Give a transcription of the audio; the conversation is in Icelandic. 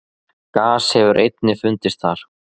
Gas hefur einnig fundist þar.